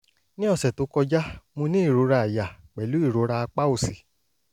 ní ọ̀sẹ̀ tó kọjá mo ní ìrora àyà pẹ̀lú ìrora apá òsì